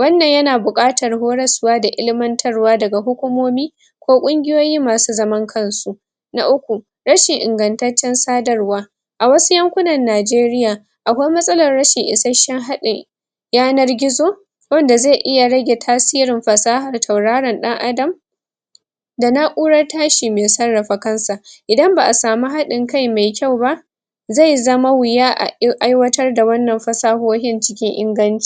wannan ya na bukatar horoswa da ilmatarwa da ga hukumomi ko kunguyoyi masu zaman kan su na uku rashin ingantacen sadarwa a wasu yankunan Nigeria akwai matsalan rashin isashen hadin yanar gizo wanda zai iya rage tasirin fasahar tauraran dan adam da na'urar tashi mai tsarafa kan sa idan ba a samu hadin kai mai kyau ba zai zama wuya a aiwatar da wannan fasahohin cikin inganci